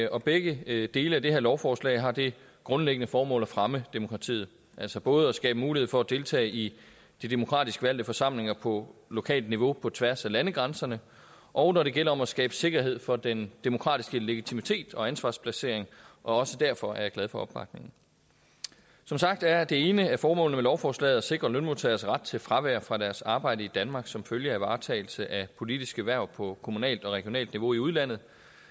og begge dele af det her lovforslag har det grundlæggende formål at fremme demokratiet altså både at skabe mulighed for at deltage i de demokratisk valgte forsamlinger på lokalt niveau på tværs af landegrænserne og når det gælder om at skabe sikkerhed for den demokratiske legitimitet og ansvarsplacering også derfor er jeg glad for opbakningen som sagt er det ene formål med lovforslaget at sikre lønmodtagernes ret til fravær fra deres arbejde i danmark som følge af varetagelse af politiske hverv på kommunalt og regionalt niveau i udlandet